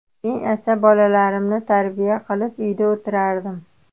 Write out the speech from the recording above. Men esa bolalarimni tarbiya qilib uyda o‘tirardim.